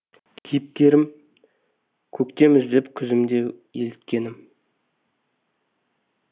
кейіпкерім көктем іздеп күзім де еліткенім